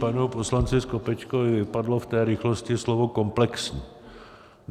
Panu poslanci Skopečkovi vypadlo v té rychlosti slovo "komplexní".